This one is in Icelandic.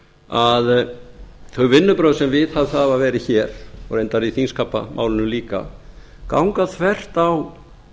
að þau vinnubrögð sem viðhöfð hafa verið hér og reyndar í þingskapamálinu líka ganga þvert á